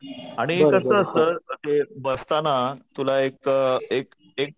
आणि कसं असतं तुला एक एक